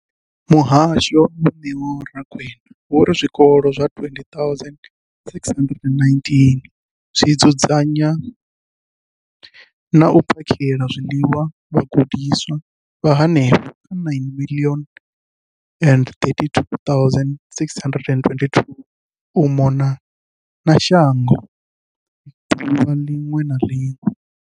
Muhasho, Vho Neo Rakwena, vho ri zwikolo zwa 20 619 zwi dzudzanya na u phakhela zwiḽiwa vhagudiswa vha henefha kha 9 032 622 u mona na shango ḓuvha ḽiṅwe na ḽiṅwe.